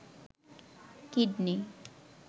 kidney